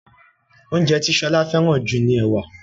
oúnjẹ ti Shola feran ju ní ẹwà.